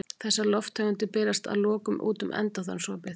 Þessar lofttegundir berast að lokum út um endaþarmsopið.